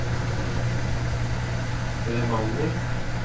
Bremanger